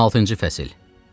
16-cı fəsil.